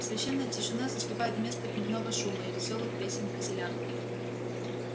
священная тишина заступает место дневного шума и весёлых песен поселян